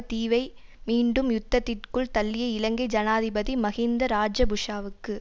தீவை மீண்டும் யுத்தத்திற்குள் தள்ளிய இலங்கை ஜனாதிபதி மஹிந்த இராஜபஷவுக்கு